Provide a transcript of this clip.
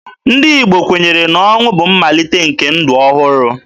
Ndị Igbo kwenyere na ọnwụ bụ mmalite nke ndụ ọhụrụ.